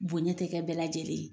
Bonɲɛ tɛ kɛ bɛɛ lajɛlen ye.